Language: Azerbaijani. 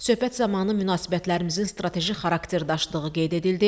Söhbət zamanı münasibətlərimizin strateji xarakter daşıdığı qeyd edildi.